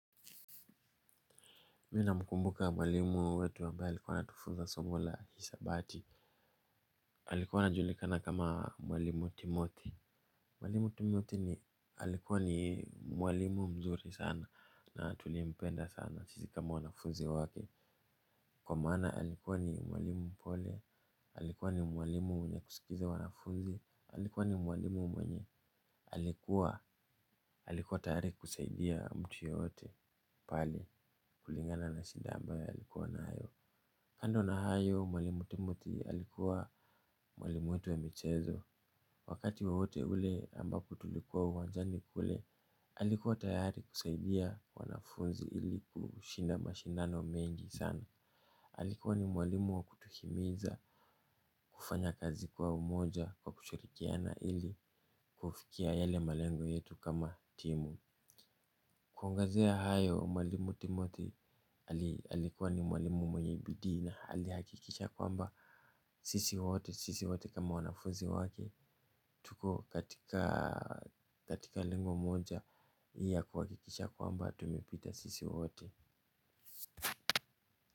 Mi namkumbuka mwalimu wetu ambaye alikuwa anatufuza somo la hisabati. Alikuwa anajulikana kama mwalimu timothi. Mwalimu timothi ni alikuwa ni mwalimu mzuri sana na tulimpenda sana sisi kama wanafunzi wake. Kwa maana alikuwa ni mwalimu mpole. Alikuwa ni mwalimu mwenye kusikiza wanafunzi. Alikuwa ni mwalimu mwenye. Alikuwa. Alikuwa tayari kusaidia mtu yeyote. Pali. Kulingana na shida ambayo alikuwa nayo. Kando na hayo mwalimu timothi alikuwa mwalimu wetu wa michezo. Wakati wowote ule ambako tulikuwa uwanjani kule alikuwa tayari kusaidia wanafunzi ili kushinda mashindano mengi sana. Alikuwa ni mwalimu wa kutuhimiza kufanya kazi kwa umoja kwa kushurikiana ili kufikia yale malengo yetu kama timu. Kuangezea hayo mwalimu timothi alikuwa ni mwalimu mwenyebidii na alihakikisha kwamba sisi wote, sisi wote kama wananfuzi wake tuko katika linge moja ya kuhakikisha kwamba tumepita sisi wote.